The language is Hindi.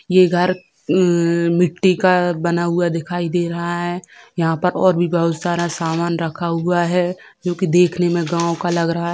ये घर एम मिट्टी का बना हुआ दिखाई दे रहा है यहाँ पर और भी बहुत सारा सामान रखा हुआ है जो कि देखने में गाँव का लग रहा है।